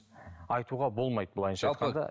айтуға болмайды былайша айтқанда